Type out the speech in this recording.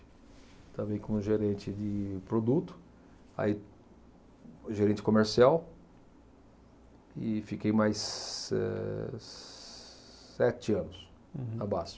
Estava aí como gerente de produto, aí gerente comercial e fiquei mais, eh, sete anos na Basfe.